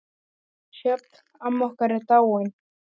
Sjöfn, amma okkar, er dáin.